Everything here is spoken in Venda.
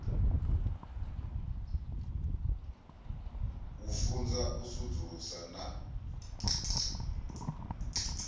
u funza u sudzulusa na